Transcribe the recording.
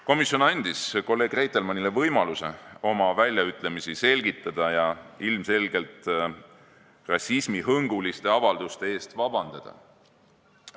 Komisjon andis kolleeg Reitelmannile võimaluse oma väljaütlemisi selgitada ja ilmselgelt rassismihõnguliste avalduste eest vabandust paluda.